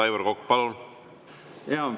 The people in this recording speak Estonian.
Aivar Kokk, palun!